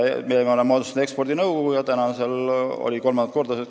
Aga me oleme moodustanud ekspordinõukogu ja olime täna kolmandat korda koos.